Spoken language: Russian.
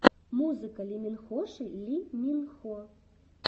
музыка лиминхоши ли мин хо